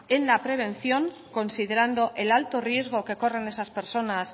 en la prevención considerando el alto riesgo que corren esas personas